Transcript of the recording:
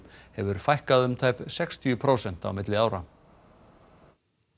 hefur fækkað um tæp sextíu prósent milli ára